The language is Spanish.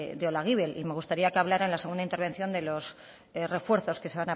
de olaguibel y me gustaría que hablara en la segunda intervención de los refuerzos que se